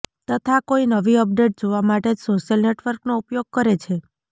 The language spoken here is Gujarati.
તથા કોઈ નવી અપડેટ જોવા માટે જ સોશિયલ નેટવર્કનો ઉપયોગ કરે છે